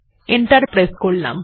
enter press করা যাক